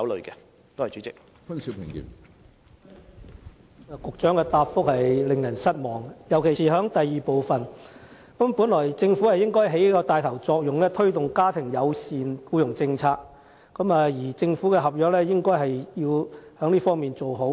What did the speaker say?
局長的答覆令人失望，尤其是主體答覆的第二部分，因為政府本該起帶頭作用，推動家庭友善僱傭政策，在政府合約中做好這一方面的安排。